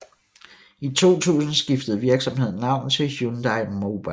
I 2000 skiftede virksomheden navn til Hyundai Mobis